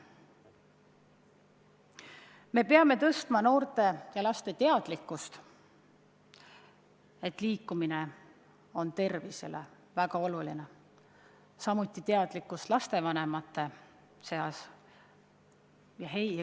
Me peame tõstma noorte ja laste teadlikkust, et nad nad teaksid, et liikumine on tervisele väga oluline, samuti peame tõstma lastevanemate teadlikkust.